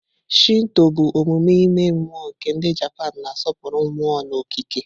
Shinto bụ omume ime mmụọ nke ndi Japanu, na-asọpụrụ mmụọ na okike.